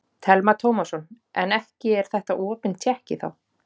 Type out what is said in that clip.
Telma Tómasson: En ekki er þetta opin tékki þá?